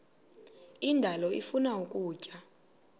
indalo ifuna ukutya